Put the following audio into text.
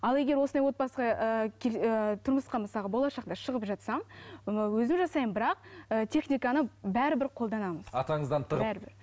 ал егер осындай отбасына ы тұрмысқа мысалы болашақта шығып жатсам ы өзім жасаймын бірақ ы техниканы бәрібір қолданамын атаңыздан тығып бәрібір